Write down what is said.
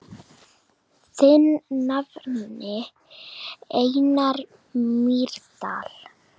Þinn nafni, Einar Mýrdal.